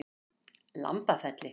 Lambafelli